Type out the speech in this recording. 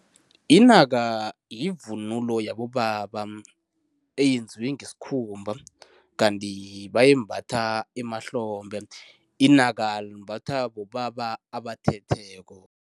Inaka yivunulo yabobaba. Eyenziwe ngesikhumba, kanti bayimbatha emahlombe. Inaka limbathwa bobaba abathetheko.